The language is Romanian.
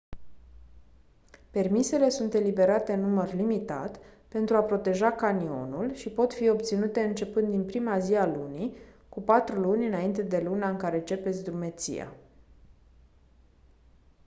permisele sunt eliberate în număr limitat pentru a proteja canionul și pot fi obținute începând din prima zi a lunii cu patru luni înainte de luna în care începeți drumeția